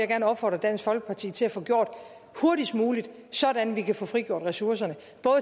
gerne opfordre dansk folkeparti til at få gjort hurtigst muligt sådan at vi kan få frigjort ressourcerne